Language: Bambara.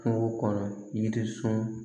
Kungo kɔnɔ yiri sɔn